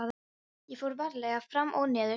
Ég fór varlega fram og niður stigann.